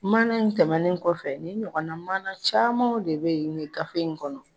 Mana in tɛmɛnen kɔfɛ ni ɲɔgɔn mana camanw de be ye nin gafe in kɔnɔ